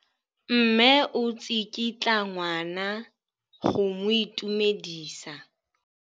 Mme o tsikitla ngwana go mo itumedisa.